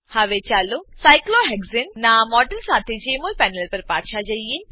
હવે ચાલો સાયક્લોહેક્સાને સાયક્લોહેક્ઝેન નાં મોડેલ સાથે જેમોલ પેનલ પર પાછા જઈએ